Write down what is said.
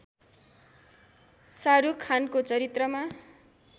शाहरूख खानको चरित्रमा